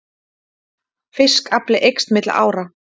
Fiskafli eykst milli ára